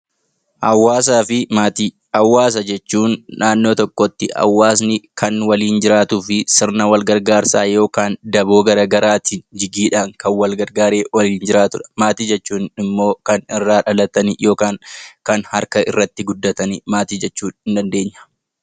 Hawaasa jechuun namoota iddoo tokkotti kan waliin jiraatuu fi sirna wal gargaarsaa fi daboo jigiidhaan kan wal gargaaree waliin jiraatudha. Maatii jechuun immoo kan dhalatanii yookiin manatti guddatan maatii jennaan